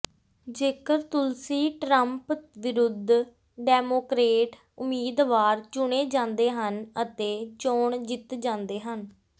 ਜੇਕਰ ਤੁਲਸੀ ਟਰੰਪ ਵਿਰੁਧ ਡੈਮੋਕਰੇਟ ਉਮੀਦਵਾਰ ਚੁਣੇ ਜਾਂਦੇ ਹਨ ਅਤੇ ਚੋਣ ਜਿੱਤ ਜਾਂਦੇ ਹਨ